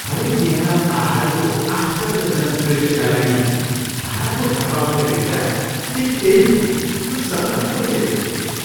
हरेक बिहान पाहाडको आश्चर्यजनक दृश्यका लागि भाडाको घरमा उठ्ने विचार ठिक त्यही हो जुन सपना मैले देखेको छु।